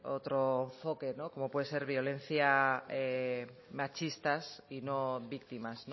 otro enfoque como puede ser violencia machistas y no víctimas